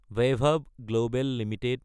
Baibhav global Ltd